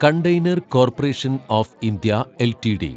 container corporation of India LTD